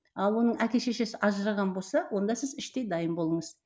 ал оның әке шешесі ажыраған болса онда сіз іштей дайын болыңыз